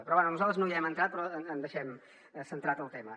però bé nosaltres no hi hem entrat però en deixem centrat el tema